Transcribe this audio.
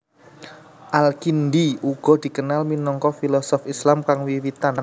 Al Kindi uga dikenal minangka filosof Islam kang wiwitan